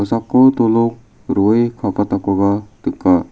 dolong ro·e kabatakoba nika.